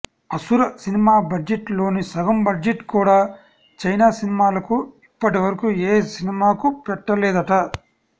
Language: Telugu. అసుర సినిమా బడ్జెట్ లోని సగం బడ్జెట్ కూడా చైనా సినిమాలకు ఇప్పటి వరకు ఏ సినిమాకు పెట్టలేదట